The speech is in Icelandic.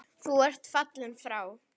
Nú ertu fallinn frá.